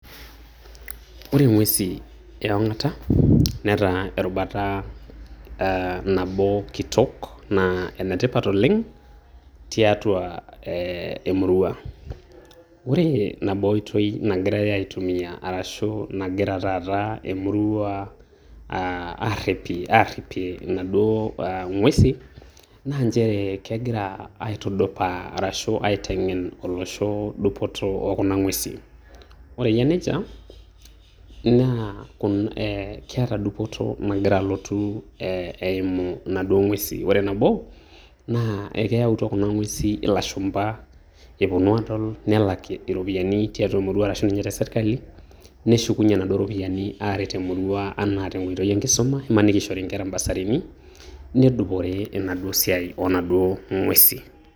Ore ing'uesin e ong'ata ,netaa erubata ah nabo kitok naa enetipata oleng tiatua eh emurua. Ore nabo oitoi nagirai aitumia arashu nagira taata emurua aarripie inaduo ing'uesin, naa njere kegira aitudupaa arashu aiteng'en olosho dupoto okuna ng'uesin. Ore eyia nejia, naa kuna keeta dupoto nagira alotu eimu inaduo ng'uesin. Ore nabo, naa ekeyautua kuna ng'uesin ilashumpa eponu aadol nelak iropiyiani tiatua emurua arashu ninye te sirkali, neshukunye naaduo iropiyiani aaret emurua enaa tenkoitoi enkisuma, imaniki ishori nkera ibasarini nedupore enaduo siai onaduo ng'uesin.